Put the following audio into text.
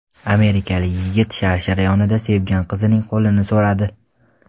Amerikalik yigit sharshara yonida sevgan qizining qo‘lini so‘radi.